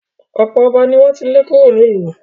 ọ̀pọ̀ ọba ni wọ́n ti lé kúrò nílùú.